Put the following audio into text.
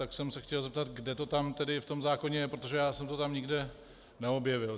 Tak jsem se chtěl zeptat, kde to tam v tom zákoně je, protože já jsem to tam nikde neobjevil.